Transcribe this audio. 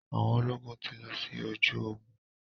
Àwọn ológun ti lọ sí ojú ogun.